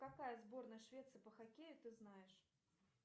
какая сборная швеции по хоккею ты знаешь